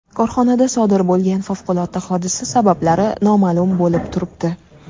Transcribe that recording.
Korxonada sodir bo‘lgan favqulodda hodisa sabablari noma’lum bo‘lib turibdi.